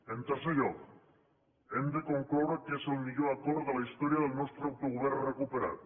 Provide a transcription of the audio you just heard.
en tercer lloc hem de concloure que és el millor acord de la història del nostre autogovern recuperat